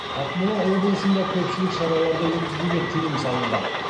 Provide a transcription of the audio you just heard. ақмола облысында көпшілік шараларды өткізуге тыйым салынған